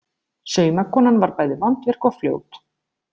Saumakonan var bæði vandvirk og fljót.